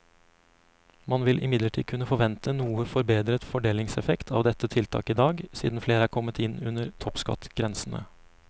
Man vil imidlertid kunne forvente noe forbedret fordelingseffekt av dette tiltaket i dag, siden flere er kommet inn under toppskattgrensene.